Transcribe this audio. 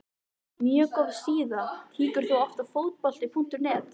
mjög góð síða Kíkir þú oft á Fótbolti.net?